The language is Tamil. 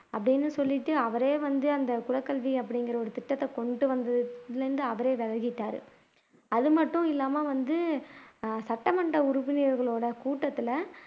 அப்படின்னு சொல்லிட்டு அவரே வந்து அந்த குலக்கல்வி அப்படிங்கிற ஒரு திட்டத்தை கொண்டு வந்ததிலிருந்து அவரே விலகிட்டாரு அதுமட்டும் இல்லாம வந்து சட்டமன்ற உறுப்பினர்களோட கூட்டத்துல